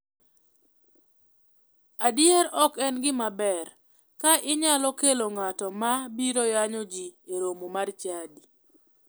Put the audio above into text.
Adier ok en gima ber ka inyalo kelo ng'ato ma biro yanyo ji e romo mar chadi.